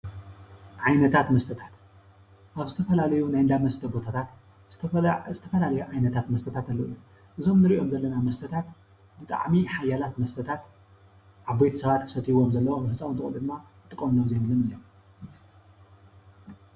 ዓይነታት መስተታት ካብ ዝተፈላለዩ ናይ እንዳ መስተ ቦታታት ዝተፈላለየ ዓይነታት መስተታት ኣለው። እዞም እንርእዮም ዘለው መስተታት ብጣዕሚ ሓያላት መስተታት ዓበይቲ ሰባት ክሰትዮዎም ዘለዎም ህንፃውንቲ ቆልዕት ድማ ክጥቀምሉ ዘይብሎም እዩ።